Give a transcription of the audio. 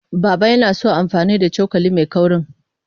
Baba yana son amfani da cokali mai kaurin.